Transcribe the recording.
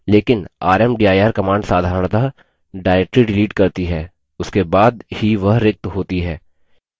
लेकिन rmdir command साधरणतः directory delete करती है उसके बाद ही वह रिक्त होती है